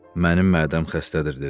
Mənim mədəm xəstədir dedi.